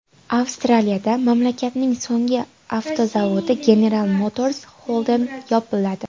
Avstraliyada mamlakatning so‘nggi avtozavodi General Motors Holden yopiladi.